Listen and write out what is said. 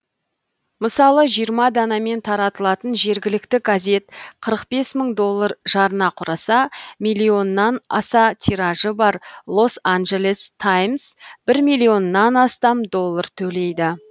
мысалы жиырма данамен таралатын жергілікті газет қырық бес мың доллар жарна кұраса миллионнан аса тиражы бар лос анджелес таймс бір миллионнан астам доллар төлейді